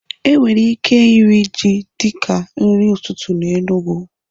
E nwere ike iri ji dịka nri ụtụtụ na Enugwu